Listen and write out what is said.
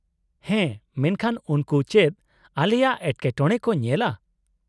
-ᱦᱮᱸ, ᱢᱮᱱᱠᱷᱟᱱ ᱩᱱᱠᱩ ᱪᱮᱫ ᱟᱞᱮᱭᱟᱜ ᱮᱴᱠᱮᱴᱚᱬᱮ ᱠᱚ ᱧᱮᱞᱟ ?